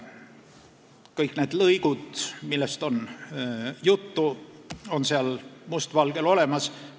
Kõik need lõigud, millest on juttu, on seal must valgel olemas.